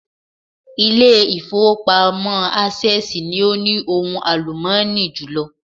Ilé ìfowópamọ́ Access ni o ní ohun àlùmọ́ọ́nì jùlọ